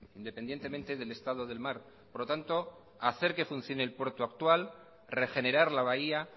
independientemente del estado del mar por lo tanto hacer que funcione el puerto actual regenerar la bahía